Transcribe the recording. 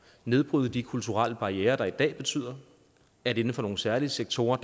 nedbryde de kulturelle barrierer der i dag betyder at inden for nogle særlige sektorer